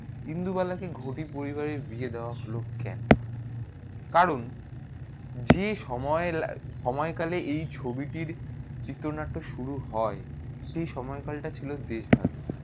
ইন্দুবালা কে ঘটি পরিবার কে বিয়ে দেবা হলো কেন? কারণ যে সময়ে সময়ে কালে এই ছবি টি চিত্রনাট্য শুরু হয়ে সেই সময়ে কাল তা ছিল দেশ ভাগের